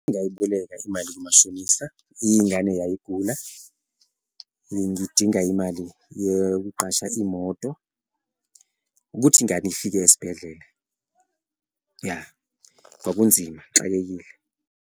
Ngayiboleka imali kumashonisa, ingane yayigula, ngidinga imali yokuqasha imoto ukuthi ingane ifike esibhedlela. Ya, kwakunzima ngixakekile.